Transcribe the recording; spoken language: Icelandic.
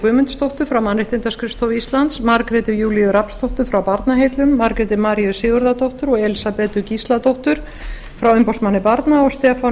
guðmundsdóttur frá mannréttindaskrifstofu íslands margréti júlíu rafnsdóttur frá barnaheillum margréti maríu sigurðardóttur og elísabetu gísladóttur frá umboðsmanni barna og stefán